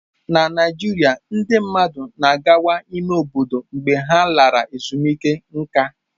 Na Naijiria, ndị mmadụ na-akwaga n'ime obodo mgbe ha lara ezumike nká.